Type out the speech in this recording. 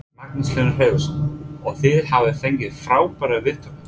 Magnús Hlynur Hreiðarsson: Og þið hafið fengið frábærar viðtökur?